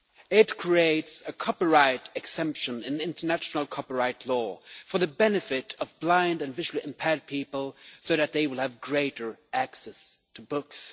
It creates a copyright exemption in international copyright law for the benefit of blind and visually impaired people so that they can have greater access to books.